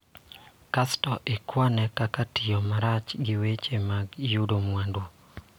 Kasto ikwane kaka tiyo marach gi weche mag yudo mwandu.